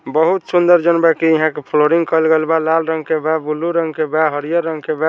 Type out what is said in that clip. बहुत सुंदर जॉन में की यहां के फ्लोरिंग कइल गेल बा लाल रंग के बा ब्लू रंग के बा हरियर रंग के बा।